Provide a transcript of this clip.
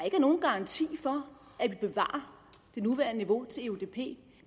nogen garanti for at vi bevarer det nuværende niveau til eudp det